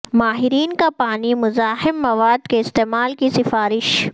ماہرین کا پانی مزاحم مواد کے استعمال کی سفارش